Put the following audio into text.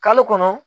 Kalo kɔnɔ